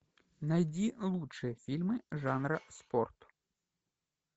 найди лучшие фильмы жанра спорт